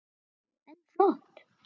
Vá, en flott.